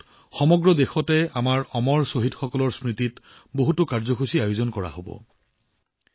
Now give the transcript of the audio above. ইয়াৰ অধীনত আমাৰ অমৰ শ্বহীদসকলৰ স্মৃতিত সমগ্ৰ দেশতে বহু কাৰ্যসূচীৰ আয়োজন কৰা হব